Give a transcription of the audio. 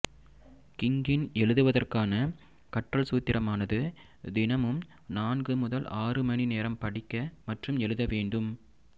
கிங்கின் எழுதுவதற்கான கற்றல் சூத்திரமானது தினமும் நான்கு முதல் ஆறு மணி நேரம் படிக்க மற்றும் எழுத வேண்டும்